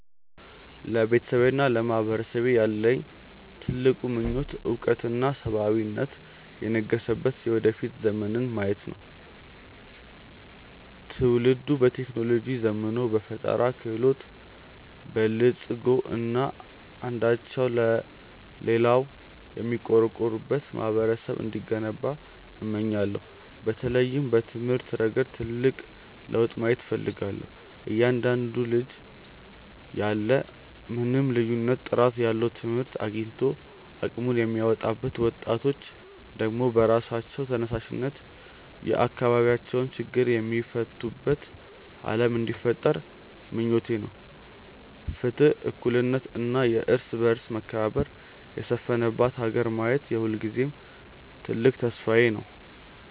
ለቤተሰቤና ለማህበረሰቤ ያለኝ ትልቁ ምኞት እውቀትና ሰብአዊነት የነገሰበት የወደፊት ዘመንን ማየት ነው። ትውልዱ በቴክኖሎጂ ዘምኖ፣ በፈጠራ ክህሎት በልፅጎ እና አንዳቸው ለሌላው የሚቆረቆሩበት ማህበረሰብ እንዲገነባ እመኛለሁ። በተለይም በትምህርት ረገድ ትልቅ ለውጥ ማየት እፈልጋለሁ፤ እያንዳንዱ ልጅ ያለ ምንም ልዩነት ጥራት ያለው ትምህርት አግኝቶ አቅሙን የሚያወጣበት፣ ወጣቶች ደግሞ በራሳቸው ተነሳሽነት የአካባቢያቸውን ችግር የሚፈቱበት ዓለም እንዲፈጠር ምኞቴ ነው። ፍትህ፣ እኩልነት እና የእርስ በርስ መከባበር የሰፈነባት ሀገር ማየት የሁልጊዜም ትልቅ ተስፋዬ ነው።